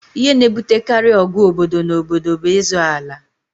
Ihe na-ebutekarị ọgụ obodo na obodo bụ ịzọ ala